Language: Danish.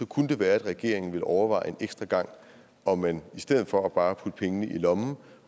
kunne det være at regeringen ville overveje en ekstra gang om man i stedet for bare at putte pengene i lommen